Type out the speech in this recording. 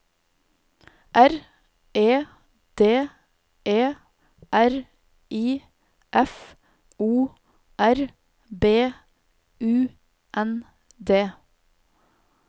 R E D E R I F O R B U N D